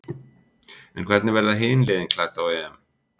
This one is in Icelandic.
En hvernig verða hin liðin klædd á EM?